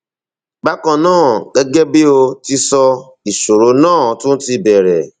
bákan náà gẹgẹ bí o ti sọ ìṣòro náà tún ti bẹrẹ